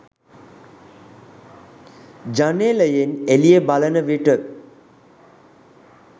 ජනේලයෙන් එළිය බලන විට